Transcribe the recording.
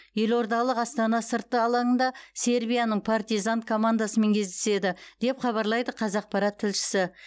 елордалық астана сыртты алаңында сербияның партизан командасымен кездеседі деп хабарлайды қазақпарат тілшісі